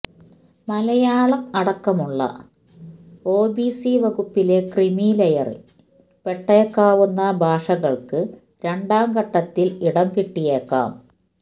മലയാളം അടക്കമുള്ള O B C വകുപ്പിലെ ക്രീമിലെയറില് പെട്ടേക്കാവുന്ന ഭാഷകള്ക്ക് രണ്ടാം ഘട്ടത്തില് ഇടം കിട്ടിയേക്കും